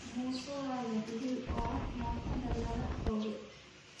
Muuse waa la dilaay oo mootada laga xoge